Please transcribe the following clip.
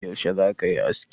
Yaushe za ka yi aski?